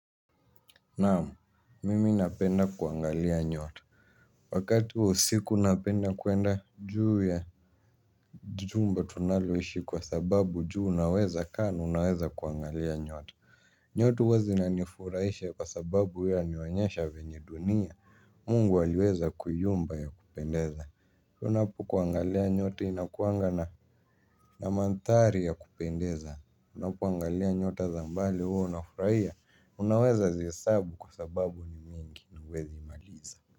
Naam mimi napenda kuangalia nyota. Wakati wa usiku napenda kuenda juu ya jumba tunaloishi kwa sababu juu unaweza kaa na unaweza kuangalia nyota. Nyota huwa zinanifurahisha kwa sababu huwa yanionyesha venye dunia mungu aliweza kuiumba ya kupendeza. Unapo kuangalia nyota inakuwanga na na maandhari ya kupendeza. Unapoangalia nyota za mbali huwa unafurahia unaweza zihesabu kwa sababu ni mingi na huwezi maliza.